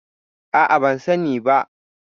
A'a, ban sani ba.